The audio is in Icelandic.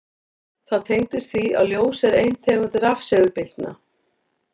Það tengist því að ljós er ein tegund rafsegulbylgna.